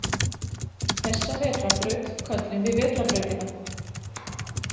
Þessa vetrarbraut köllum við Vetrarbrautina.